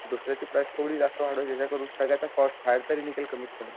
दुसऱ्याची प्राईस थोडी जास्त वाढवायची जेणेकरून सगळ्याचा कॉस्ट बाहेरतरी निघेल कमीत कमी.